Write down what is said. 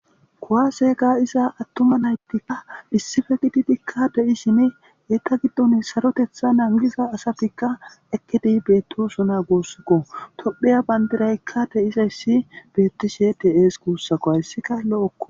Kowase ga iza attoma naytikka dhissife gididikka de7ishine eeta giddone sarotetha nangiza asafikka ekidi bettoso na goossikko tophiya bandiraykka de7izayssi bettishe dees kuussako hayssika lo7okko